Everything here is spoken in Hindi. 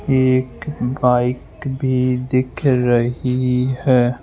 एक बाइक भी दिख रही है।